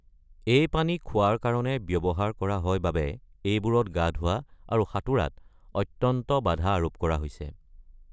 এই পানী খোৱাৰ কাৰণে ব্যৱহাৰ কৰা হয় বাবে এইবোৰত গা ধুৱা আৰু সাঁতোৰাত অত্যন্ত বাধা আৰোপ কৰা হৈছে।